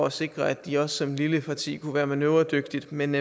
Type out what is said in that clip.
at sikre at de også som et lille parti kunne være manøvredygtigt men